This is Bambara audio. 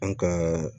An ka